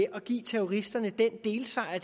at give terroristerne den delsejr